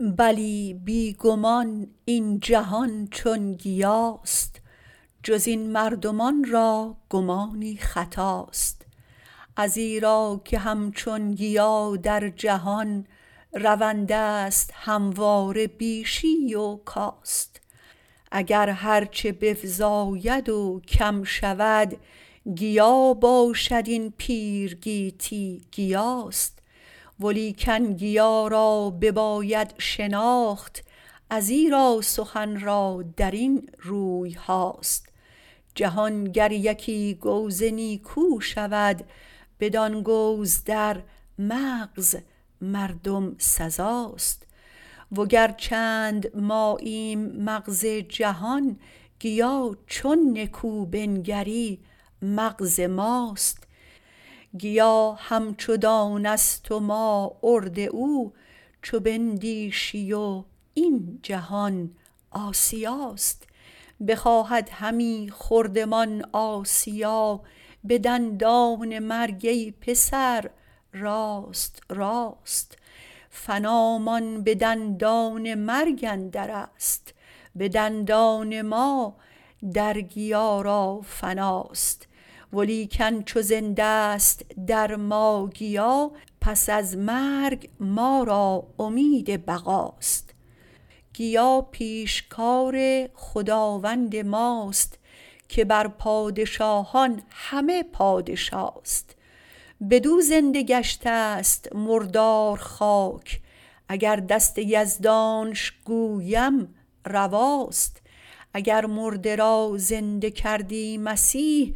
بلی بی گمان این جهان چون گیاست جز این مردمان را گمانی خطاست ازیرا که همچون گیا در جهان رونده است همواره بیشی و کاست اگر هرچه بفزاید و کم شود گیا باشد این پیر گیتی گیاست ولیکن گیا را بباید شناخت ازیرا سخن را درین رویهاست جهان گر یکی گوز نیکو شود بدان گوز در مغز مردم سزاست وگر چند ماییم مغز جهان گیا چون نکو بنگری مغز ماست گیا همچو دانه است و ما آرد او چو بندیشی و این جهان آسیاست بخواهد همی خوردمان آسیا به دندان مرگ ای پسر راست راست فنامان به دندان مرگ اندر است به دندان ما در گیا را فناست ولیکن چو زنده است در ما گیا پس از مرگ ما را امید بقاست گیا پیشکار خداوند ماست که بر پادشاهان همه پادشاست بدو زنده گشته است مردار خاک اگر دست یزدانش گویم رواست اگر مرده را زنده کردی مسیح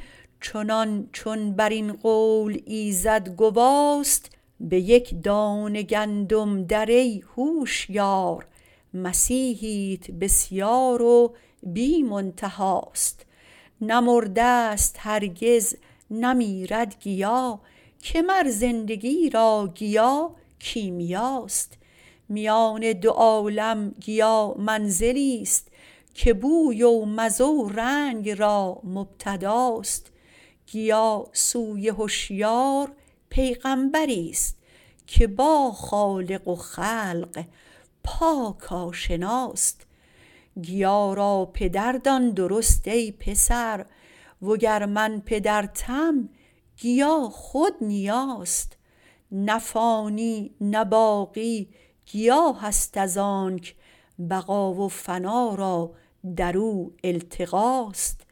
چنان چون برین قول ایزد گواست به یک دانه گندم در ای هوشیار مسیحیت بسیار و بی منتهاست نه مرده است هرگز نه میرد گیا که مر زندگی را گیا کیمیاست میان دو عالم گیا منزلی است که بوی و مزه و رنگ را مبتداست گیا سوی هشیار پیغمبری است که با خالق و خلق پاک آشناست گیا را پدر دان درست ای پسر وگر من پدرتم گیا خود نیاست نه فانی نه باقی گیاه است ازانک بقا و فنا را درو التقاست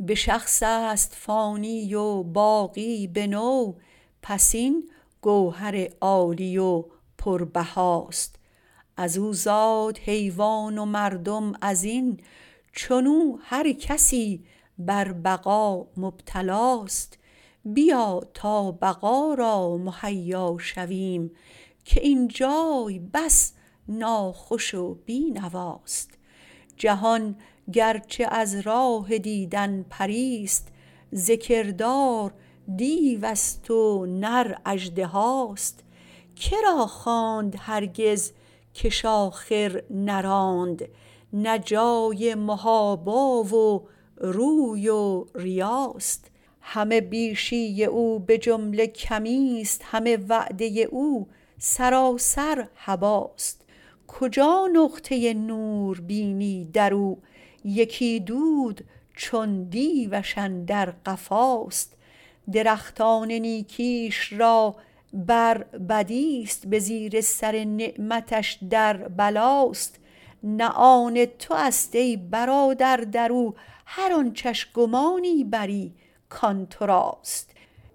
به شخص است فانی و باقی به نوع پس این گوهر عالی و پربهاست ازو زاد حیوان و مردم وزین چنو هر کسی بربقا مبتلاست بیا تا بقا را مهیا شویم که اینجای بس ناخوش و بی نواست جهان گرچه از راه دیدن پری است ز کردار دیو است و نر اژدهاست کرا خواند هرگز که ش آخر نراند نه جای محابا و روی و ریاست همه بیشی او بجمله کمی است همه وعده او سراسر هباست کجا نقطه نور بینی درو یکی دود چون دیوش اندر قفاست درختان نیکیش را بر بدی است به زیر سر نعمتش در بلاست نه آن تو است ای برادر درو هر آنچه ش گمانی بری کان تو راست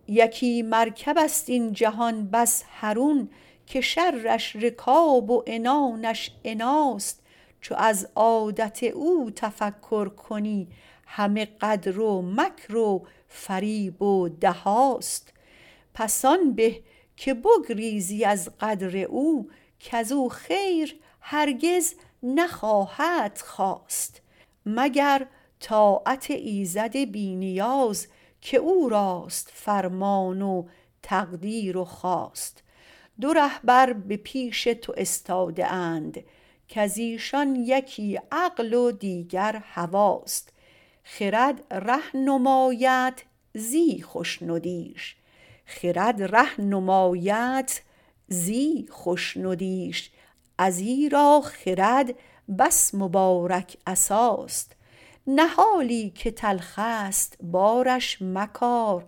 یکی مرکب است این جهان بس حرون که شرش رکاب و عنانش عناست چو از عادت او تفکر کنی همه غدر و مکر و فریب و دهاست پس آن به که بگریزی از غدر او کزو خیر هرگز نخواهدت خاست مگر طاعت ایزد بی نیاز که او راست فرمان و تقدیر و خواست دو رهبر به پیش تو استاده اند کزایشان یکی عقل و دیگر هواست خرد ره نمایدت زی خشندیش ازیرا خرد بس مبارک عصاست نهالی که تلخ است بارش مکار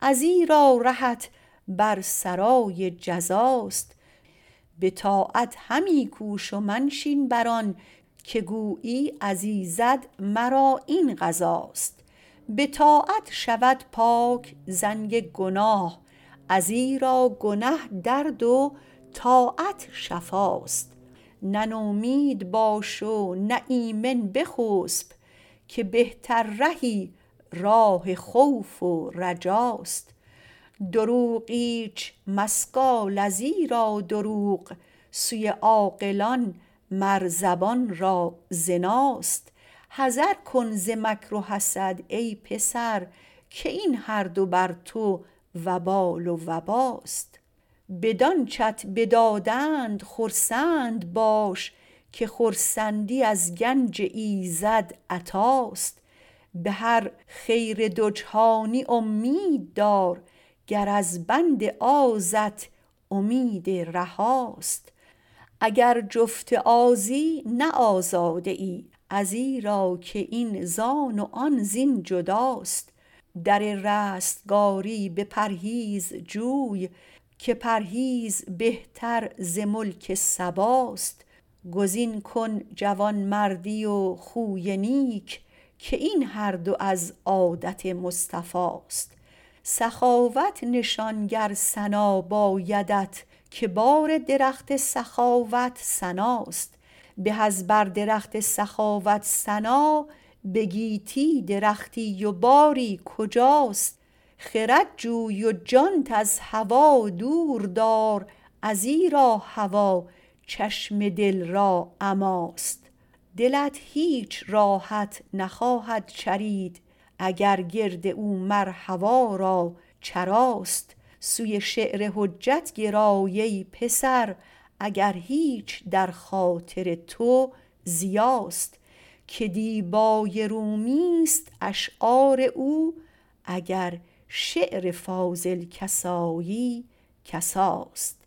ازیرا رهت بر سرای جزاست به طاعت همی کوش و منشین بران که گویی از ایزد مرا این قضاست به طاعت شود پاک زنگ گناه ازیرا گنه درد و طاعت شفاست نه نومید باش و نه ایمن بخسپ که بهتر رهی راه خوف و رجاست دروغ ایچ مسگال ازیرا دروغ سوی عاقلان مر زبان را زناست حذر کن ز مکر و حسد ای پسر که این هر دو بر تو وبال و وباست بدانچه ت بدادند خرسند باش که خرسندی از گنج ایزد عطاست به هر خیر دو جهانی امیددار گر از بند آزت امید رهاست اگر جفت آزی نه آزاده ای ازیرا که این زان و آن زین جداست در رستگاری به پرهیز جوی که پرهیز بهتر ز ملک سباست گزین کن جوانمردی و خوی نیک که این هر دو از عادت مصطفاست سخاوت نشان گر ثنا بایدت که بار درخت سخاوت ثناست به از بر درخت سخاوت ثنا به گیتی درختی و باری کجاست خرد جوی و جانت از هوا دور دار ازیرا هوا چشم دل را عماست دلت هیچ راحت نخواهد چرید اگر گرد او مر هوا را چراست سوی شعر حجت گرای ای پسر اگر هیچ در خاطر تو ضیاست که دیبای رومی است اشعار او اگر شعر فاضل کسایی کساست